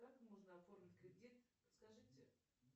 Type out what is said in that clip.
как можно оформить кредит подскажите